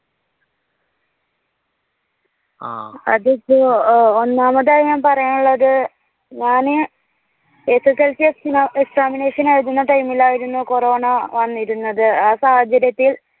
. അതിപ്പോ ഒന്നാമതായി ഞാൻ പറയാനുള്ളത് ഞാനു SSLC എക്സിമ Examination ആയിരുന്ന time ഇൽ ആയിരുന്നു കൊറോണ വന്നിരുന്നത്. ആ സാഹചര്യത്തിൽ